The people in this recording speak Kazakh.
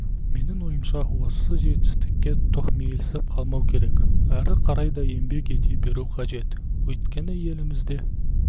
менің ойымша осы жетістікке тоқмейілсіп қалмау керек ары қарай да еңбек ете беру қажет өйткені елімізде